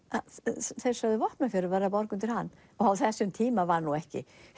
þeir sögðu Vopnafjörður verður að borga undir hann á þessum tíma var ekki